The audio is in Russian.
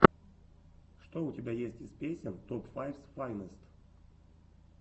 что у тебя есть из песен топ файфс файнест